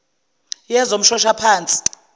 yezomshoshaphansi